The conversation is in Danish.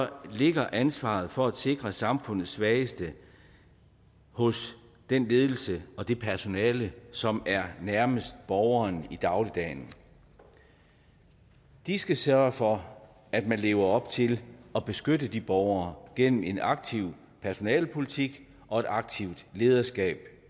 ligger ansvaret for at sikre samfundets svageste hos den ledelse og det personale som er nærmest borgeren i dagligdagen de skal sørge for at man lever op til at beskytte de borgere gennem en aktiv personalepolitik og et aktivt lederskab